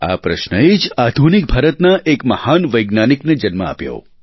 આ પ્રશ્નએ જ આધુનિક ભારતના એક મહાન વૈજ્ઞાનિકને જન્મ આપ્યો